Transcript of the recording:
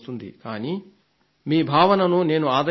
కానీ మీ భావనను నేను ఆదరిస్తాను